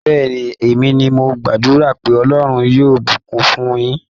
Bẹ́ẹ̀ni, èmi ni mo gbàdúrà pé Ọlọ́rn yóò bùkún fún un yín.